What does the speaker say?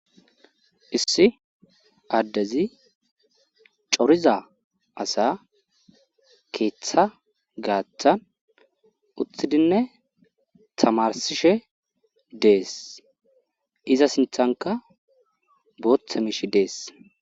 issi addezi coriza asa keeththa gaathan utthidinne tamarsishe dees iza sinthanka booththe miishi dees